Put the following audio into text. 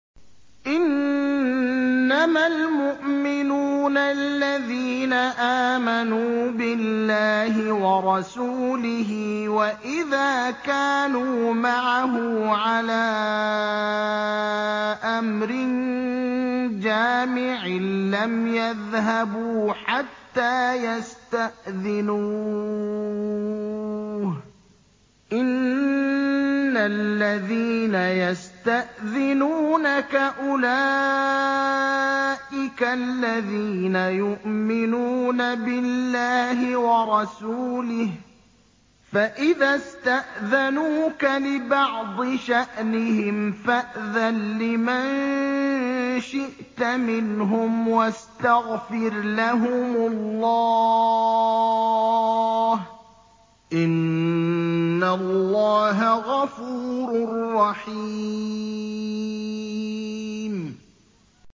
إِنَّمَا الْمُؤْمِنُونَ الَّذِينَ آمَنُوا بِاللَّهِ وَرَسُولِهِ وَإِذَا كَانُوا مَعَهُ عَلَىٰ أَمْرٍ جَامِعٍ لَّمْ يَذْهَبُوا حَتَّىٰ يَسْتَأْذِنُوهُ ۚ إِنَّ الَّذِينَ يَسْتَأْذِنُونَكَ أُولَٰئِكَ الَّذِينَ يُؤْمِنُونَ بِاللَّهِ وَرَسُولِهِ ۚ فَإِذَا اسْتَأْذَنُوكَ لِبَعْضِ شَأْنِهِمْ فَأْذَن لِّمَن شِئْتَ مِنْهُمْ وَاسْتَغْفِرْ لَهُمُ اللَّهَ ۚ إِنَّ اللَّهَ غَفُورٌ رَّحِيمٌ